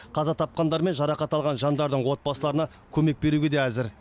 қаза тапқандар мен жарақат алған жандардың отбасыларына көмек беруге де әзір